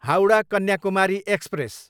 Howrah, Kanyakumari express